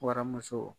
Waramuso